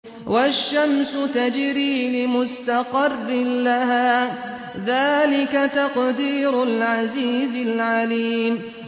وَالشَّمْسُ تَجْرِي لِمُسْتَقَرٍّ لَّهَا ۚ ذَٰلِكَ تَقْدِيرُ الْعَزِيزِ الْعَلِيمِ